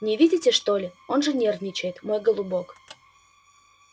не видите что ли он же нервничает мой голубок